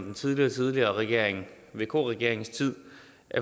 en tidligere regering igen vk regeringen